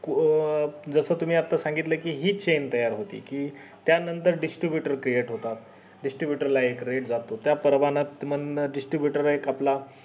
अं जसं तुम्हीआता सांगितलं कि हि च चेन तयार होते कि त्या नंतर distributor create होतात distibutor ला एक rate जातो त्या प्रमाणात मंग distibutor एक आपला